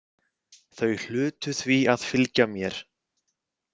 Þau hlutu því að fylgja mér.